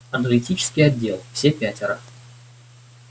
аналитический отдел все пятеро